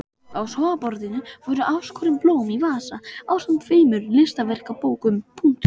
Á sófaborðinu voru afskorin blóm í vasa ásamt tveimur listaverkabókum.